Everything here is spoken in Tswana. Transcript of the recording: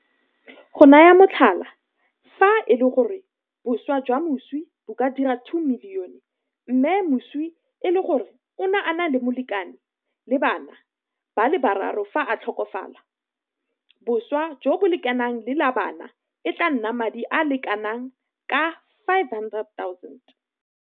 Go naya motlhala, fa e le gore boswa jwa moswi bo ka dira R2 milione mme moswi e le gore o ne a na le molekane le bana ba le bararo fa a tlhokafala, boswa jo bo lekanang le la bana e tla nna madi a le kana ka R500 000.